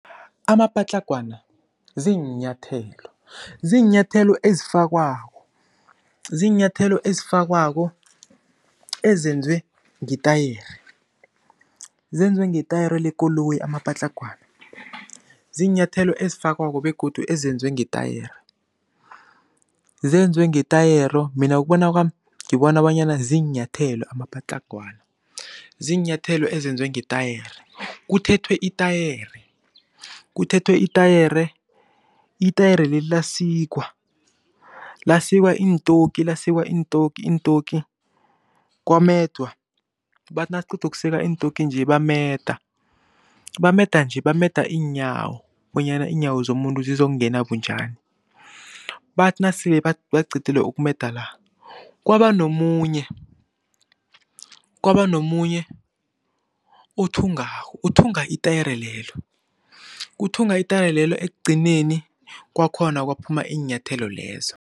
Amapatlagwana ziinyathelo, ziinyathelo ezifakwako, ziinyathelo ezifakwako ezenzwe ngetayere. Zenzwe ngetayere lekoloyi amapatlagwana. Ziinyathelo ezifakwako begodu ezenzwe ngetayere. Zenzwe ngetayero mina ngokubona kwami ngibona bonyana ziinyathelo amapatlagwana, ziinyathelo ezenzwe ngetayere, kuthethwe itayere, kuthethwe itayere, itayere leli lasikwa. Lasikwa iintoki, lasikwa iintoki, iintoki kwamedwa. Bathi nakuqedukusika iintoki nje bameda. Bameda nje bameda iinyawo, bonyana iinyawo zomuntu zizokungena bunjani. Bathi nasele baqedile ukumeda la kwabanomunye kwabanomunye othungako, othunga itayero lelo, uthunga itayero lelo ekugcineni kwakhona kwaphuma iinyathelo lezo.